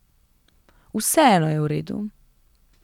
Vseeno je v redu.